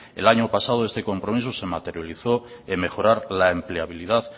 el año pasado ese compromiso se materializó en mejorar la empleabilidad